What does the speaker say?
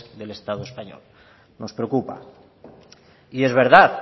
del estado español nos preocupa y es verdad